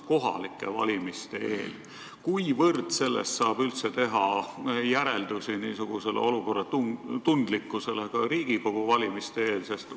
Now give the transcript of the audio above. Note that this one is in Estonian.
Aga mil määral nendest saab teha järeldusi olukorra kohta Riigikogu valmiste eel?